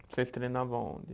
Vocês treinavam aonde?